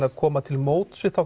að koma til móts við þá